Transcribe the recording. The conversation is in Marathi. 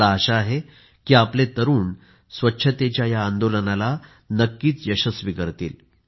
मला आशा आहे की आपले तरुण स्वच्छतेच्या या आंदोलनाला नक्की यशस्वी करतील